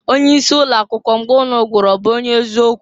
Onye isi ụlọ akwụkwọ mgbe ụnụ gụrụ ọ bụ onye ezi okwu?